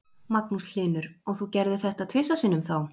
Magnús Hlynur: Og þú gerðir þetta tvisvar sinnum þá?